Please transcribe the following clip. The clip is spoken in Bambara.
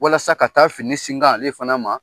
Walasa ka taa fini singan ale fana ma